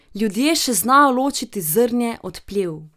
Ljudje še znajo ločiti zrnje od plev.